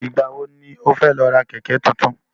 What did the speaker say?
Ìgbà wo ni ó fẹ́ lọ ra Kẹ̀kẹ́ tuntun?